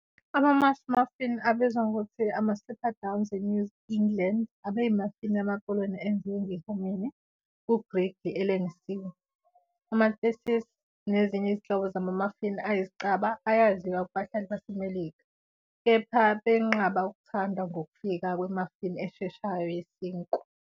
"Ama-mush muffin, abizwa ngokuthi ama-slipperdowns eNew England, abeyi-muffin yamaKoloni enziwe nge- hominy ku-griddle elengisiwe." Ama-theses nezinye izinhlobo zama-muffin ayizicaba ayaziwa kubahlali baseMelika, kepha benqaba ukuthandwa ngokufika kwe-muffin esheshayo yesinkwa.